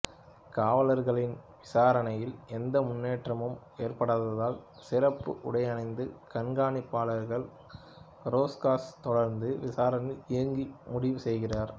காவலர்களின் விசாரணையில் எந்த முன்னேற்றமும் ஏற்படாததால் சிறப்பு உடையணிந்த கண்காணிப்பாளர் ரோர்ஸ்காச் தொடர்ந்து விசாரணையில் இறங்க முடிவுசெய்கிறார்